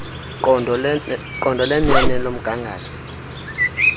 qondo lenene lomgangatho